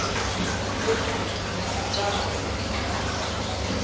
go e nngwe jaaka go